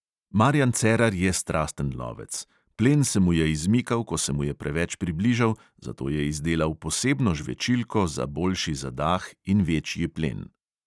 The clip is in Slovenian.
Marijan cerar je strasten lovec: plen se mu je izmikal, ko se mu je preveč približal, zato je izdelal posebno žvečilko za boljši zadah in večji plen.